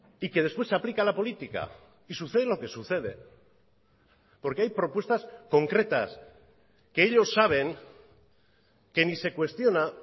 y que después se aplica la política y sucede lo que sucede porque hay propuestas concretas que ellos saben que ni se cuestiona